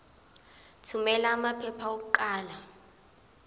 thumela amaphepha okuqala